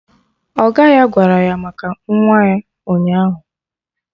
Ọga ya gwara ya maka nwa ya ụnyaahụ